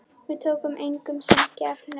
Við tókum engu sem gefnu.